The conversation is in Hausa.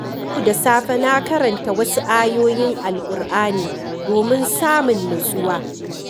Yau da safe na karanta wasu ayoyin Alƙur’ani domin samun nutsuwa.